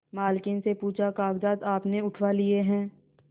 मालकिन से पूछाकागजात आपने उठवा लिए हैं